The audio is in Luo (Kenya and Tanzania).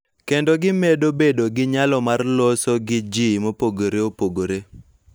Kendo gimedo bedo gi nyalo mar loso gi ji mopogore opogore.